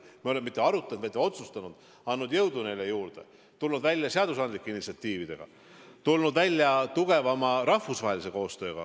Ja me pole mitte ainult arutanud, vaid ka otsustanud, andnud neile jõudu juurde, tulnud välja seadusandlike initsiatiividega, tulnud välja tugevama rahvusvahelise koostööga.